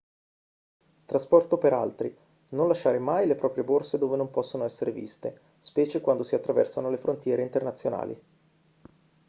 trasporto per altri non lasciare mai le proprie borse dove non possono essere viste specie quando si attraversano le frontiere internazionali